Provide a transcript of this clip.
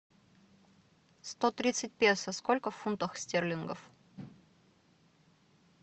сто тридцать песо сколько в фунтах стерлингов